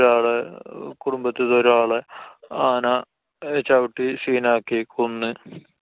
ഒരാളെ കുടുംബത്തിൽത്തെ ഒരാളെ ആന ചവിട്ടി scene ആക്കി. കൊന്ന്.